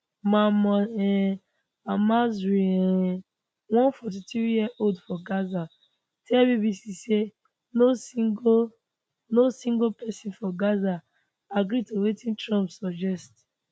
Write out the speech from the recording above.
mahmoud um almasry um one 43yearold for gaza tell bbc say no single no single pesin for gaza agree to wetin trump suggest